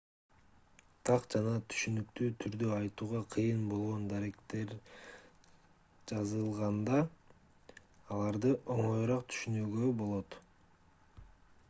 так жана түшүнүктүү түрдө айтууга кыйын болгон даректер жазылганда аларды оңоюраак түшүнүүгө болот